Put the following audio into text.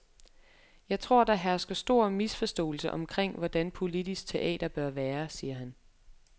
Jeg tror, der hersker stor misforståelse omkring, hvordan politisk teater bør være, siger han.